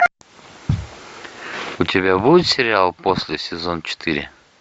у тебя будет сериал после сезон четыре